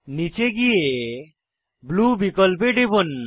নীচে গিয়ে ব্লু বিকল্পে টিপুন